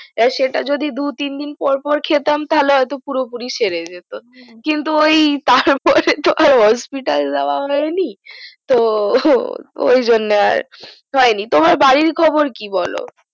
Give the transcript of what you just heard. আর সেটা যদি দুই তিন দিন পর পর খেতাম তাহলে হয়তো পুরোপুরি সেরে যত কিন্তু ওই তারপরে তো আর hospital যাওয়া হয়নি তো ওই জন্য আর খাইনি তোমার বাড়ির খবর কি বোলো